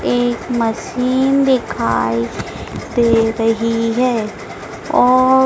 एक मशीन दिखाई दे रही है और--